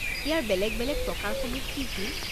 ইয়াৰ বেলেগ বেলেগ প্ৰকাৰসমূহ কি কি?